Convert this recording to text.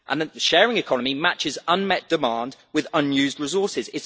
The sharing economy matches unmet demand with unused resources